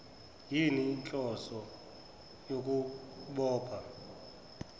yini inhloso yokubopha